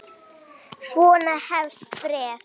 Svona hefst bréfið